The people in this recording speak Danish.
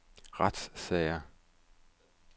retssager